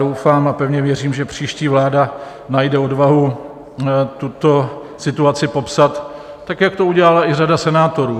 Doufám a pevně věřím, že příští vláda najde odvahu tuto situaci popsat tak, jak to udělala i řada senátorů.